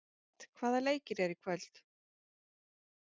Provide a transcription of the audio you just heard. Edvard, hvaða leikir eru í kvöld?